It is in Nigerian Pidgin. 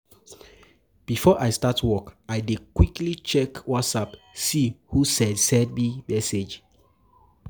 Before I start work, I dey quickly check WhatsApp see who send send message.